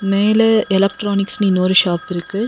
மேல எலக்ட்ரானிக்ஸ்னு இன்னொரு ஷாப் இருக்கு.